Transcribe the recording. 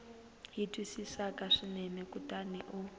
yi twisisaka swinene kutani u